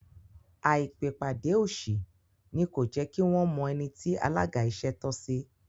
Àìpèpàdé òṣì ni kò jẹ́kí wọ́n mọ ẹni tí alága ìṣẹ́ tọ́ sí